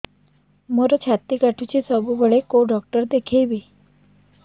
ମୋର ଛାତି କଟୁଛି ସବୁବେଳେ କୋଉ ଡକ୍ଟର ଦେଖେବି